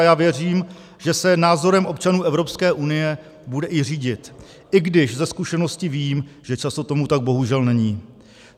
A já věřím, že se názorem občanů Evropské unie bude i řídit, i když ze zkušenosti vím, že často tomu tak bohužel není.